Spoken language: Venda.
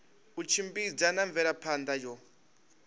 u tshimbidza na mvelaphana yo